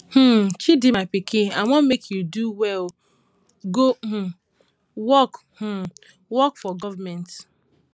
um chidi my pikin i wan make you do well go um work um work for government um